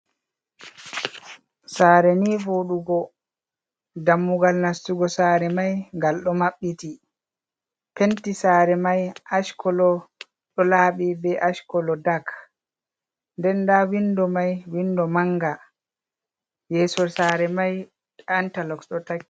Sare ni voɗugo dammugal nastugo sare mai gal ɗo mabbiti penti sare mai ash kolo ɗo laaɓi be ash kolo dak nden nda windo mai windo manga yesso sare mai antaloxot ɗo takki.